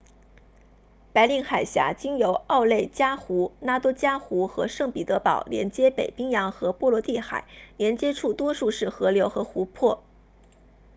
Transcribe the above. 白令海峡经由奥内加湖 lake onega 拉多加湖 lake ladoga 和圣彼得堡 saint petersburg 连接北冰洋和波罗的海连接处多数是河流和湖泊